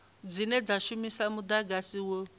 dzine dza shumisa mudagasi wo